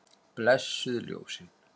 Blessuð ljósin.